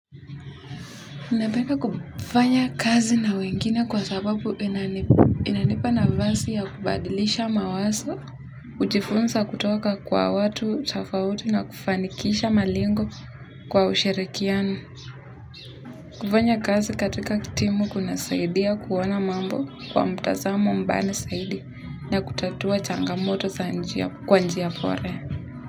Ninapenda kufanya kazi na wengine kwa sababu inanipa nafasi ya kubadilisha mawazo, kujifunza kutoka kwa watu tofauti na kufanikisha malengo kwa ushirikiano. Kufanya kazi katika timu kunasaidia kuona mambo kwa mtazamo mpana zaidi na kutatua changamoto za njia kwa njia bora.